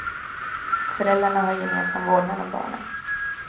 Föräldrarna har gemensam vårdnad om barnen.